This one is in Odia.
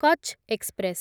କଚ୍ ଏକ୍ସପ୍ରେସ୍